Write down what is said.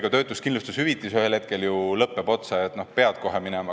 Töötuskindlustushüvitis ühel hetkel ju lõppeb otsa, pead kohe tööle minema.